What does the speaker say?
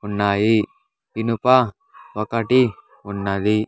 ఉన్నాయి ఇనుప ఒకటి ఉన్నది.